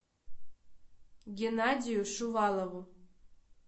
геннадию шувалову